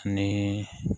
Ni